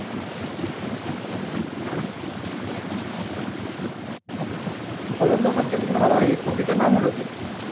ফলনটা ভোবছে কোনটা ভালো হয়েছে, কপিতে না মুলোতে?